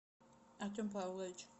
артем павлович